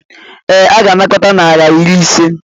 Ee, ọ ga-anakọta naira iri ise.